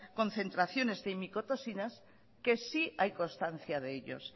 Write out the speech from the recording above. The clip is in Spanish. concentraciones de micotoxinas que sí hay constancia de ellos